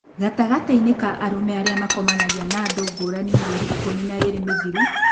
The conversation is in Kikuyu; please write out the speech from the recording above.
Gatagatĩ inĩ ka arũme arĩa manakomania na andũ ngũrani mĩerĩ ikũmi na ĩĩrĩ mĩthiru